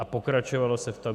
A pokračovalo se v tom.